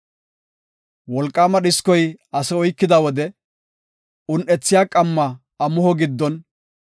Wolqaama dhiskoy ase oykida wode un7ethiya qamma amuho giddon,